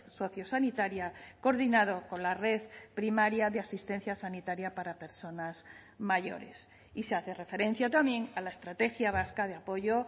sociosanitaria coordinado con la red primaria de asistencia sanitaria para personas mayores y se hace referencia también a la estrategia vasca de apoyo